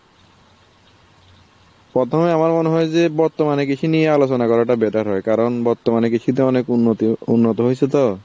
প্রথমে আমার মনে হয় যে বর্তমানে কৃষি নিয়ে আলোচনা করাটা better হয়, কারণ বর্তমানে কৃষি তো অনেক উন্নতি উন্নত হয়েছে তো,